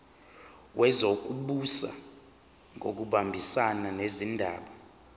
wezokubusa ngokubambisana nezindaba